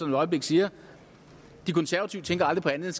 et øjeblik siger de konservative tænker aldrig på andet